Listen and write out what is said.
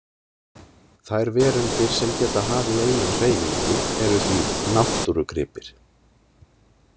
Þær verundir sem geta hafið eigin hreyfingu eru því „náttúrugripir“.